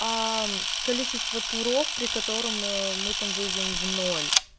аа количество туров при котором ээ мы там выйдем в ноль